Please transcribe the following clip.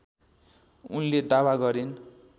उनले दावा गरिन्